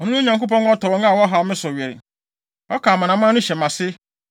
Ɔno ne Onyankopɔn a ɔtɔ wɔn a wɔhaw me so were; ɔka amanaman no hyɛ mʼase